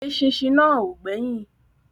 Eṣinṣin náà ò gbẹ́yìn